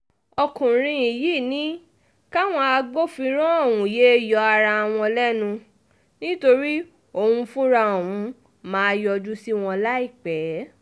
ọkùnrin yìí ní káwọn agbófinró ọ̀hún yéé yọ ara wọn lẹ́nu nítorí um òun fúnra òun máa yọjú sí wọn láìpẹ́ um